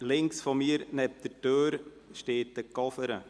Links von mir neben der Türe steht ein Koffer.